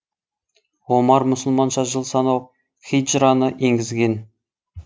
омар мұсылманша жыл санау хиджраны енгізген